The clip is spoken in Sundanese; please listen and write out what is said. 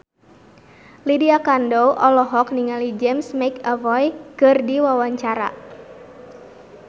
Lydia Kandou olohok ningali James McAvoy keur diwawancara